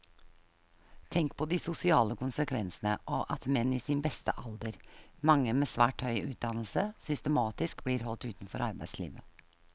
Tenk på de sosiale konsekvensene av at menn i sin beste alder, mange med svært høy utdannelse, systematisk blir holdt utenfor arbeidslivet.